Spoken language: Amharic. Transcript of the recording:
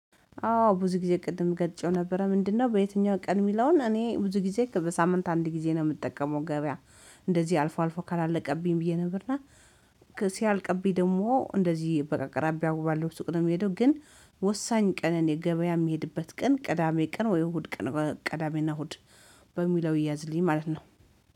አዎ ብዙ ጊዜ ቅድም ገልጨው ነበረ ምንድነው? በየትኛው ቀን የሚለውን እኔ ብዙ ጊዜ በሳምንት አንድ ጊዜ ነው የምጠቀመው ገበያ። እንደዚህ አልፎ አልፎ ካላለቀብኝ ብዬ ነበር እና ሲያልቅብኝ ደግሞ እንደዚህ በቃ አቅራቢያ ባለው ሱቅ ነው የሚሄደው። ግን ወሳኝ ቀን እኔ የገበያ የሚሄድበት ቀን ቅዳሜ ቅን ወይ እሁድ ቀን ቅዳሜና እሁድ። በሚለው ያዝልኝ ማለት ነው